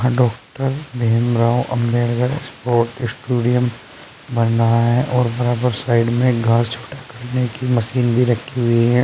Doctor Bhimrao Ambedkar sports stadium बन रहा है और बराबर साइड में घास छोटा करने की मशीन भी रखी हुई है।